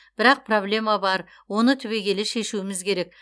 бірақ проблема бар оны түбегейлі шешуіміз керек